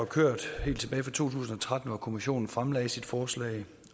kørt helt tilbage fra to tusind og tretten hvor kommissionen fremlagde sit forslag